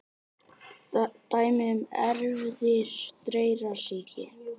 Dæmi um erfðir dreyrasýki: